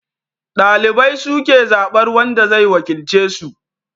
Dalibai su ke zabar wanda zai wakilce su